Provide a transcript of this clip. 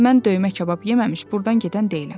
Mən döymə kabab yeməmiş burdan gedən deyiləm.